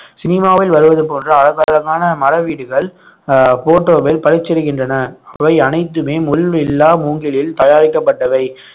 சினிமாவில் வருவது போன்று அலங்காரமான மர வீடுகள் அஹ் photo வில் பளிச்சிடுகின்றன இவை அனைத்துமே முள் இல்லா மூங்கிலில் தயாரிக்கப்பட்டவை